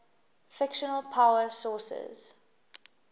fictional power sources